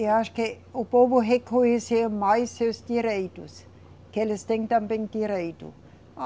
Eu acho que o povo reconheceu mais seus direitos, que eles têm também direito.